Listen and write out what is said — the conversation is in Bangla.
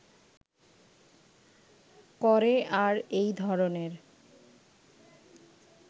করে আর এই ধরনের